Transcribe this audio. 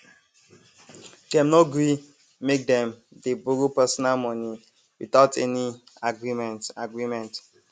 dem no gree make dem dey borrow personal money without any agreement agreement